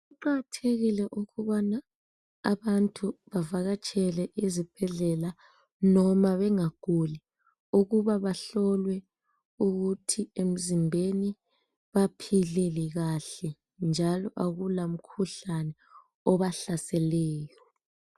Kuqakathekile ukubana abantu bavakatshele ezibhedlela noma bengaguli ukuba bahlolwe ukuthi emzimbeni baphile kahle njalo akula mkhuhlane obahlaseleyo.